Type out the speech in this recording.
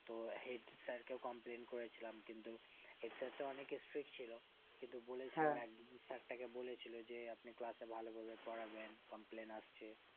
তো head sir কে complain করেছিলাম কিন্তু head sir তা অনেক strick ছিল কিন্তু বলেছিলাম sir তাকে বলেছিলো যে আপনি class এ ভালো ভাবে পড়ান না sir তাকে বলে ছিল যে আপনি ভালোভাবে পড়াবেন complain আসছে